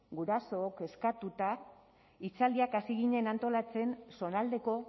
gurasook kezkatuta hitzaldiak hasi ginen antolatzen zonaldeko